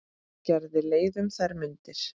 Gerði leið um þær mundir.